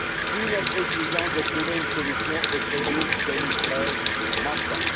D'où notre exigence de trouver une solution aux crédits 2013 manquants.